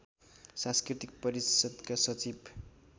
सांस्कृतिक परिषद्का सचिव